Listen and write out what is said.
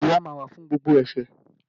Ìjìyà máa wà fún gbogbo ẹ̀ṣẹ̀